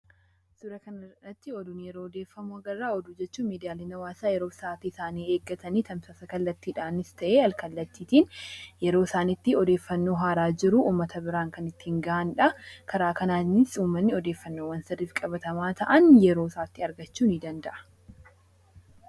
Suuraa kana irratti oduun yeroo odeeffamu agarra. Oduu jechuun miidiyaaleen hawaasaa yeroo isaanii eeggatanii tamsaasa kallattiidhaanis ta'ee alkallatiitiin yeroo isaan itti odeeffannoo haaraa jiru uummata biraan kan ittiin ga'anidha. Karaa kanaanis uummanni odeeffannowwan sirriifi qabatamaa ta'an yeroo isaatti argachuu ni danda'a.